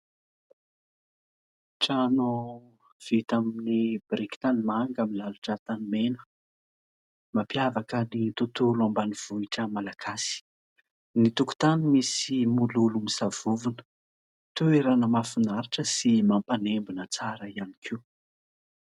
Trano vita amin'ny biriky tany manga milalotra tany mena. Mampiavaka ny tontolo ambanivohitra malagasy ny tokotany misy mololo misavovona. Toerana mahafinaritra sy mampanembona tsara ihany koa.